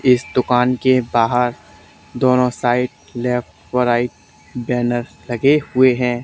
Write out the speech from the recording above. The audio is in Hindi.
इस दुकान के बाहर दोनों साइड लेफ्ट और राइट बैनर लगे हुए हैं।